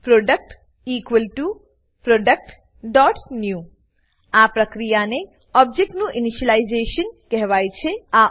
product productન્યૂ આ પ્રક્રિયાને ઓબજેક્ટનું ઇનિશિયલાઇઝેશન ઇનીશલાઈઝેશન કહેવાય છે